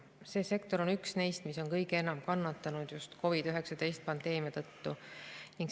See sektor on üks neist, mis on kõige enam kannatanud just COVID-19 pandeemia tõttu.